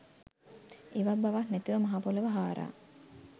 ඉවක් බවක් නැතිව මහපොළොව හාරා